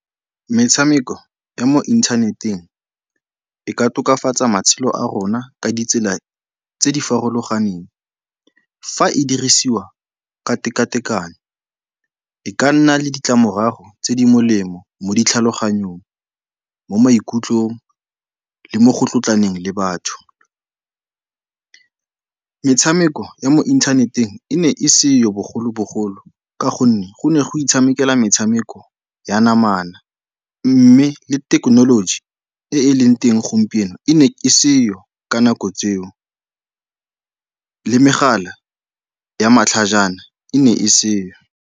Metshameko ya mo inthaneteng e ka tokafatsa matshelo a rona ka ditsela tse di farologaneng, fa e dirisiwa ka tekatekano. E ka nna le ditlamorago tse di molemo mo ditlhaloganyong, mo maikutlong le mo go tlotlaneng le batho. Metshameko ya mo inthaneteng e ne e seyo bogolobogolo ka gonne go ne go itshamekelwa metshameko ya namana mme le thekenoloji e e leng teng gompieno e ne e seo ka nako tseo, le megala ya matlhajana e ne e seo.